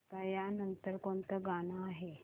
आता या नंतर कोणतं गाणं आहे